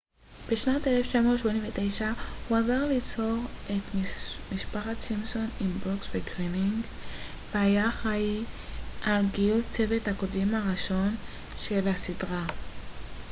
בשנת 1989 הוא עזר ליצור את משפחת סימפסון עם ברוקס וגרינינג והיה אחראי על גיוס צוות הכותבים הראשון של הסדרה